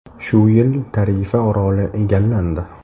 Shu yili Tarifa oroli egallandi.